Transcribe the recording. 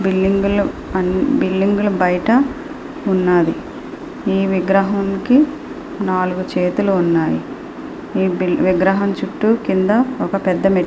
Building అని building లు బయట ఉన్నాయి. ఈ విగ్రహానికి నాలుగు చేతులు ఉన్నాయి. ఈ విగ్రహం చుట్టూ కింద నాలుగు మెట్--